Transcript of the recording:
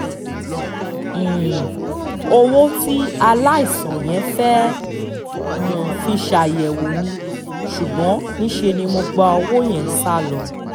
um owó tí aláìsàn yẹn fẹ́ẹ́ um fi ṣàyẹ̀wò ní ṣùgbọ́n níṣẹ́ ni mo gbowó yẹn sá lọ